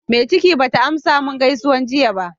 Mai ciki bata amsa min gaisuwar jiya ba.